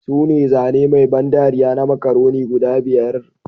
Sune zane mai ban dariya na Macaroni guda biyar